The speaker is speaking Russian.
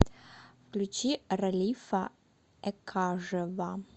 включи ралифа экажева